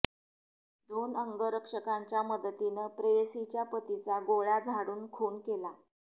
दोन अंगरक्षकांच्या मदतीन प्रेयसीच्या पतीचा गोळ्या झाडून खून केला